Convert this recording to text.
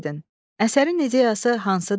Əsərin ideyası hansıdır?